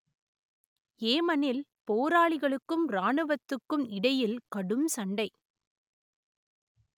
ஏமனில் போராளிகளுக்கும் இராணுவத்துக்கும் இடையில் கடும் சண்டை